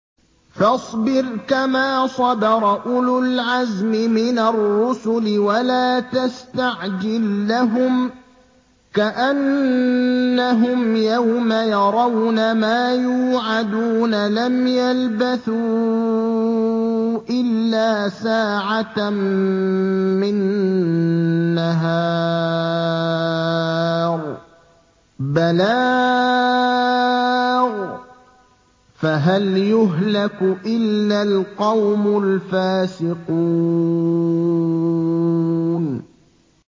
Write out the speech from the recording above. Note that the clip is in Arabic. فَاصْبِرْ كَمَا صَبَرَ أُولُو الْعَزْمِ مِنَ الرُّسُلِ وَلَا تَسْتَعْجِل لَّهُمْ ۚ كَأَنَّهُمْ يَوْمَ يَرَوْنَ مَا يُوعَدُونَ لَمْ يَلْبَثُوا إِلَّا سَاعَةً مِّن نَّهَارٍ ۚ بَلَاغٌ ۚ فَهَلْ يُهْلَكُ إِلَّا الْقَوْمُ الْفَاسِقُونَ